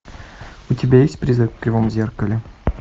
у тебя есть призрак в кривом зеркале